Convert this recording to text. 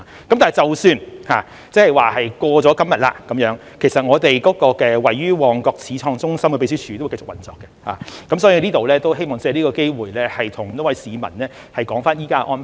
但是，即使過了今天，其實我們位於旺角始創中心的秘書處會繼續運作，我希望藉此機會向市民交代現時的安排。